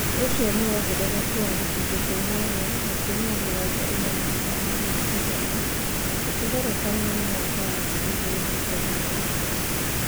Ũcio nĩ wongerereku wa gĩcunjĩ kĩa inyanya gaturumo mĩrongo ĩna na ithano harĩ igana. ũkĩgerekania na mwaka wa 2015.